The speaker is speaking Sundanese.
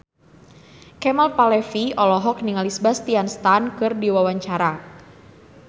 Kemal Palevi olohok ningali Sebastian Stan keur diwawancara